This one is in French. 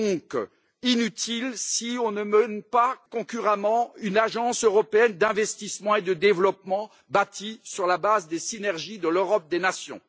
Elle est donc inutile si on ne mène concurremment une agence européenne d'investissement et de développement bâtie sur la base des synergies de l'Europe des nations.